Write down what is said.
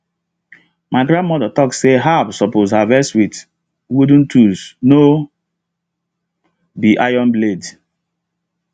my grandmother talk say herbs suppose harvest with wooden tools no be iron blade